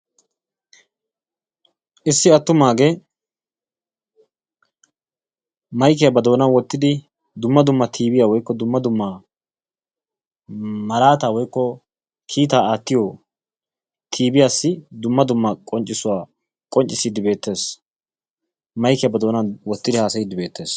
Issi attumaagee maykiya ba doonan wottidi dumma dumma tiibiya/dumma dumma malaataa/kiitaa aattiyo tiibiyassi dumma dumma qonccissuwa qonccissiiddi beettees. Maykiya ba doonan wottidi haasayiiddi beettees.